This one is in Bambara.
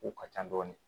U ka ca dɔɔnin